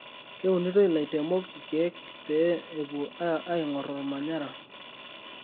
Keunito laitemok ikiek pee epuo aingor omanyara.